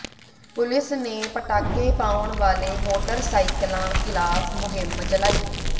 police ਨੇ ਪਟਾਕੇ ਪਾਉਣ ਵਾਲੇ ਮੋਟਰਸਾਈਕਲਾਂ ਖਿਲਾਫ਼ ਮੁਹਿੰਮ ਚਲਾਈ